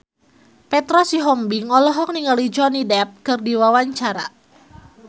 Petra Sihombing olohok ningali Johnny Depp keur diwawancara